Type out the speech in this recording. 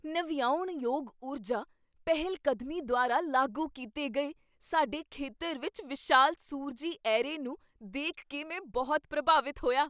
ਨਵਿਆਉਣਯੋਗ ਊਰਜਾ ਪਹਿਲਕਦਮੀ ਦੁਆਰਾ ਲਾਗੂ ਕੀਤੇ ਗਏ ਸਾਡੇ ਖੇਤਰ ਵਿੱਚ ਵਿਸ਼ਾਲ ਸੂਰਜੀ ਐਰੇ ਨੂੰ ਦੇਖ ਕੇ ਮੈਂ ਬਹੁਤ ਪ੍ਰਭਾਵਿਤ ਹੋਇਆ।